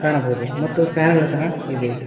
ನಬದು ಮತ್ತು ಫ್ಯಾನ್ ಗಳು ಸಹ ಇವೆ.